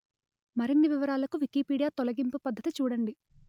మరిన్ని వివరాలకు వికీపీడియా తొలగింపు పద్ధతి చూడండి